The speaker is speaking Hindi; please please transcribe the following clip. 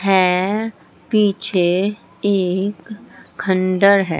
हैं पीछे एक खंडर है।